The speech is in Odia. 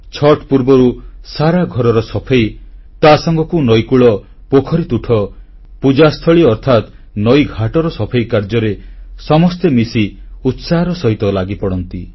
ଛଠ୍ ପୂର୍ବରୁ ସାରା ଘରର ସଫେଇ ତାସାଙ୍ଗକୁ ନଈକୂଳ ପୋଖରିତୁଠ ପୂଜାସ୍ଥଳୀ ଅର୍ଥାତ୍ ନଈଘାଟର ସଫେଇ କାର୍ଯ୍ୟରେ ସମସ୍ତେ ମିଶି ଉତ୍ସାହର ସହ ଲାଗିପଡ଼ନ୍ତି